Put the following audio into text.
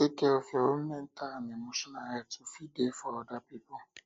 take care of your own mental and emotional health to fit dey for other pipo